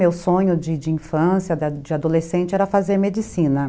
Meu sonho de de infância, de de adolescente, era fazer medicina.